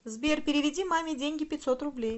сбер переведи маме деньги пятьсот рублей